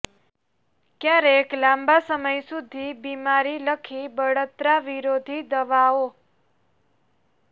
ક્યારેક લાંબા સમય સુધી બીમારી લખી બળતરા વિરોધી દવાઓ